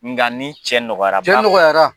Nka ni cɛ nɔgɔyara ba Cɛ nɔgɔyara!